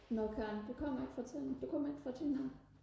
nå Karen du kommer ikke fra Tønder du kommer ikke fra Tønder af